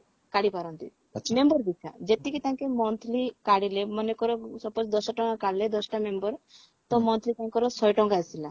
କାଢି ପାରନ୍ତି member ପିଛା ଯେତିକି ତାଙ୍କେ monthly କାଢିଲେ ମନେକର suppose ଦଶ ଟଙ୍କା କାଢିଲେ ଦଶଟା member ତ monthly ତାଙ୍କର ଶହେ ଟଙ୍କା ଆସିଲା